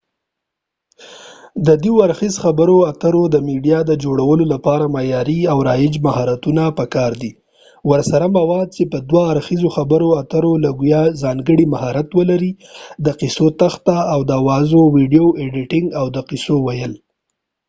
د دوه اړخیز خبرو اترو د میډیا د جوړولو لپاره معیاری او رایج مهارتونه په کار دي ورسره مواد چې په دوه اړخیزو خبرو اترو ټولګیو کې ځانګړی مهارت ولري ، د قصو تخته ، د اوازاو ويديو ایديټنګ او د قصو ويل